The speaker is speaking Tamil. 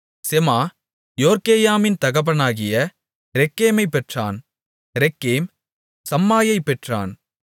செமா யோர்க்கேயாமின் தகப்பனாகிய ரெக்கேமைப் பெற்றான் ரெக்கேம் சம்மாயைப் பெற்றான்